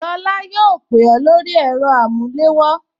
Lola yóò pè ó lórí ẹ̀rọ amulewo